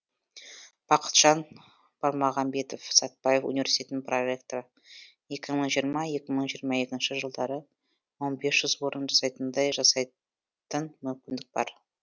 бақытжан бармағамбетов сәтбаев университетінің проректоры екі мың жиырма жиырма екінші жылдары мың бес жүз орын жасайтындай жасайтын мүмкіндік бар